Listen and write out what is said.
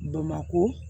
Bamakɔ